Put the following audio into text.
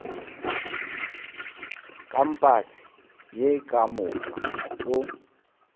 kampase ye ka moka o